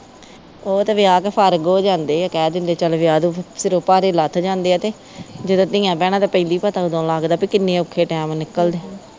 ਉਹ ਤੇ ਵਿਆਹ ਕੇ ਫਾਰਗੂ ਹੋ ਜਾਂਦੇ ਆ ਕਹਿ ਦਿੰਦੇ ਚੱਲ ਵਿਆਹ ਦੋ ਫਿਰ ਸਿਰੋਂ ਭਾਰ ਲੱਥ ਜਾਂਦੇ ਆ ਤੇ ਜਦੋ ਧੀਆ ਭੈਣਾਂ ਤੇ ਪੈਂਦੀ ਪਤਾ ਓਦੋ ਲਗਦਾ ਕੇ ਕਿਨ੍ਹੇ ਔਖੇ ਟਾਇਮ ਨਿਕਲਦੇ